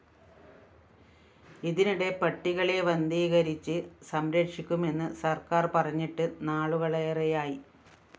ഇതിനിടെ പട്ടികളെ വന്ധീകരിച്ച് സംരക്ഷിക്കുമെന്ന് സര്‍ക്കാര്‍ പറഞ്ഞിട്ട് നാളുകളേറെയായി